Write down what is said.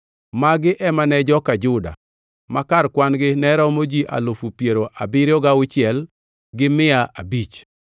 Magi ema ne joka Juda; ma kar kwan-gi ne romo ji alufu piero abiriyo gauchiel gi mia abich (76,500).